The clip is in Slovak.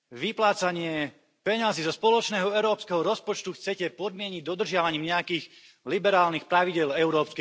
Vyplácanie peňazí zo spoločného európskeho rozpočtu chcete podmieniť dodržiavaním nejakých liberálnych pravidiel EÚ.